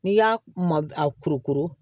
N'i y'a ma a kurukuru